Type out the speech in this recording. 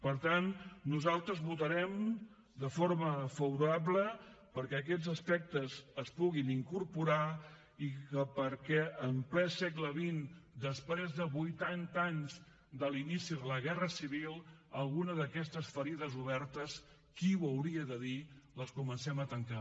per tant nosaltres votarem de forma favorable perquè aquests aspectes s’hi puguin incorporar i perquè en ple segle xx després de vuitanta anys de l’inici de la guerra civil alguna d’aquestes ferides obertes qui ho hauria de dir les comencem a tancar